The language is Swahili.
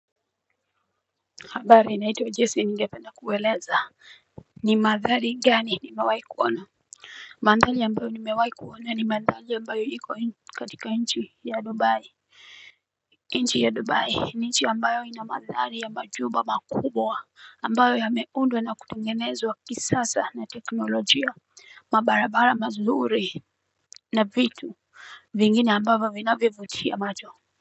Habari naitwa Jessy. Ningependa kueleza ni manthari gani nimewai kuona. Manthari ambayo nimewai kuona ni manthari ambayo iko katika nchi ya Dubai. Nchi ya Dubai, ni nchi ambayo ina manthari ya majumba makubwa, ambayo yameundwa na kutungenezwa kisasa na teknolojía, mabarabara mazuri na vitu. Vingine ambavyo vinavyovutia macho.